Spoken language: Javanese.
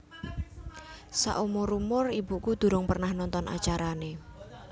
Sakumur umur ibuku durung pernah nonton acarane